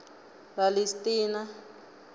ralistina